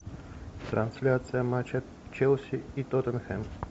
трансляция матча челси и тоттенхэм